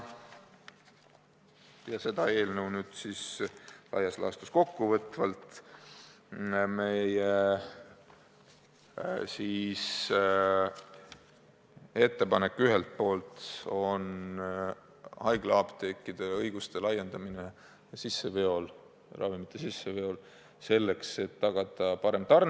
Seda eelnõu laias laastus kokku võtvalt on meie ettepanek ühelt poolt haiglaapteekide õiguste laiendamine ravimite sisseostul, selleks et tagada parem tarne.